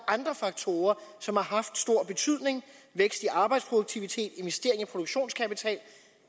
andre faktorer som har haft stor betydning vækst i arbejdsproduktivitet investering af produktionskapital